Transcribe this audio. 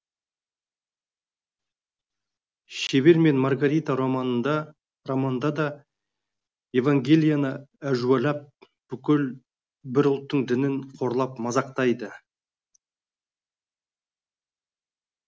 шебер мен маргарита романында да евангелияны әжуалап бүкіл бір ұлттың дінін қорлап мазақтайды